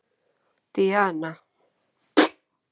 Díana